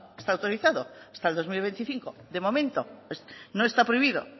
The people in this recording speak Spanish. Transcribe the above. está autorizado hasta el dos mil veinticinco de momento no está prohibido